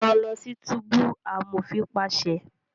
Rán lọ sí túbú! amofin paṣẹ